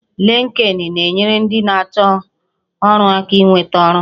Linkedin na-enyere ndị na-achọ ọrụ aka inweta ọrụ